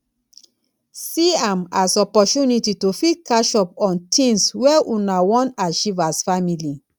see am as opportunity to fit catch up on things wey una wan achieve as family